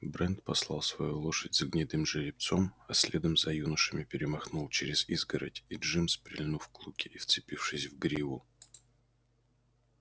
брент послал свою лошадь за гнедым жеребцом а следом за юношами перемахнул через изгородь и джимс прильнув к луке и вцепившись в гриву